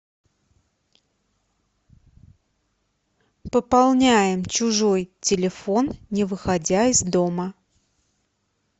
пополняем чужой телефон не выходя из дома